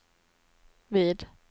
vid